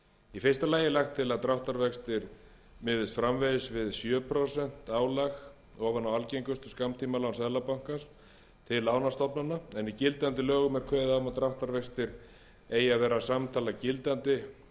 í fyrsta lagi er lagt til að dráttarvextir miðist framvegis við sjö prósent álag ofan á algengustu skammtímalán seðlabankans til lánastofnana en í gildandi lögum er kveðið á um að dráttarvextir eigi að vera samtala gildandi